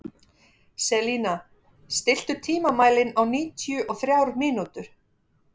Selina, stilltu tímamælinn á níutíu og þrjár mínútur.